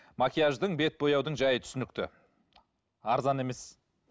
макияждың бет бояудың жайы түсінікті арзан емес